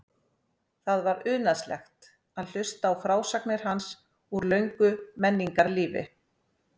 Það var unaðslegt að hlusta á frásagnir hans úr löngu menningarlífi.